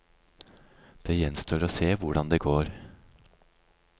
Det gjenstår å se hvordan det går.